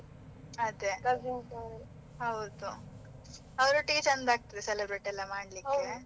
ಅದೇ, ಅವರೊಟ್ಟಿಗೆ ಚಂದ ಆಗ್ತದೆ celebrate ಎಲ್ಲ .